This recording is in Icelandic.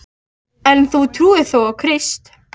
En þú trúir þó á Krist?